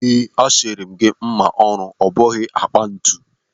A siri m gị mma ọrụ, ọ bụghị akpa ntu.